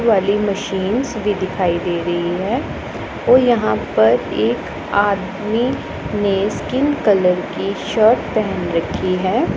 वाली मशीन्स भी दिखाई दे रही है और यहां पर एक आदमी ने स्किन कलर की शर्ट पहन रखी है।